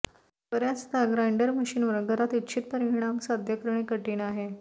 बर्याचदा ग्राइंडर मशीनवर घरात इच्छित परिणाम साध्य करणे कठीण आहे